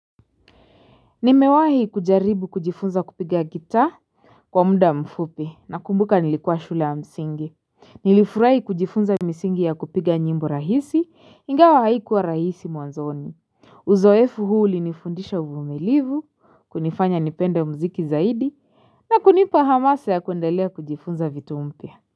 Nimewahi kujaribu kujifunza kupiga gitaa kwa muda mfupi nakumbuka nilikua shule ya msingi. Nilifurai kujifunza misingi ya kupiga nyimbo rahisi ingawa haikuwa rahisi mwanzoni. Uzoefu huu ulinifundisha uvumilivu kunifanya nipende muziki zaidi na kunipa hamasa ya kuendelia kujifunza vitu mpya.